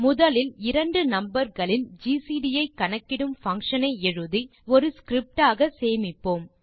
முதலில் இரண்டு நம்பர் களின் ஜிசிடி ஐ கணக்கிடும் பங்ஷன் ஐ எழுதி ஒரு ஸ்கிரிப்ட் ஆக சேமிப்போம்